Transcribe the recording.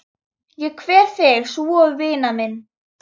Ég kveð þig svo vina mín.